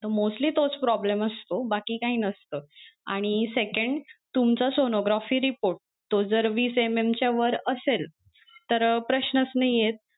तर mostly तोच problem असतो बाकी काही नसत आणि second तुमचं sonography report तो जर वीस MM च्या वर असेल तर प्रश्नच नाही येत.